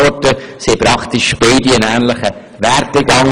Sie haben einen ähnlichen Werdegang: